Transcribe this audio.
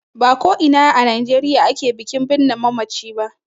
Ba ko ina a Najeriya ake bikin birne mamaci ba.